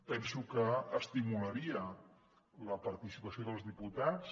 penso que estimularia la participació dels diputats